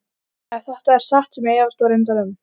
Jenetta, slökktu á niðurteljaranum.